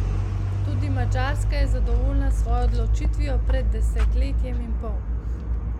Tudi Madžarska je zadovoljna s svojo odločitvijo pred desetletjem in pol.